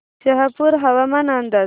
शहापूर हवामान अंदाज